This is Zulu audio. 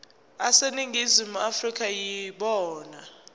aseningizimu afrika yibona